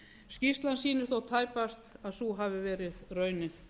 skýrslan sýnir þó tæpast að svo hafi verið raunin